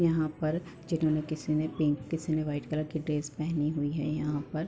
यहां पर जिन्होंने किसी ने पिंक किसी ने वाइट कलर की ड्रेस पहनी हुई है। यहाँ पर --